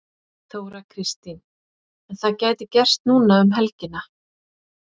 Þóra Kristín: En það gæti gerst núna um helgina?